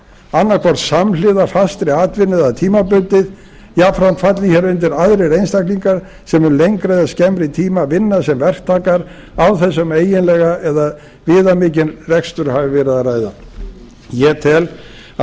annaðhvort samhliða fastri atvinnu eða tímabundið jafnframt falli hér undir aðrir einstaklingar sem um lengri eða skemmri tíma vinna sem verktakar án þess um eiginlega eða viðamikinn rekstur hafi verið að ræða ég tel að